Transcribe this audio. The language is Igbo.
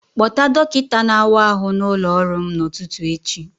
Kpọta dọkịta na-awa ahụ n'ụlọ ọrụ m n'ụtụtụ echi